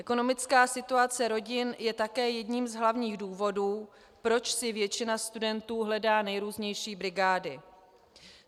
Ekonomická situace rodin je také jedním z hlavních důvodů, proč si většina studentů hledá nejrůznější brigády.